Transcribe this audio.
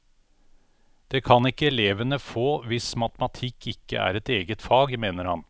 Det kan ikke elevene få hvis matematikk ikke er et eget fag, mener han.